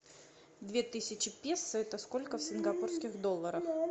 две тысячи песо это сколько в сингапурских долларах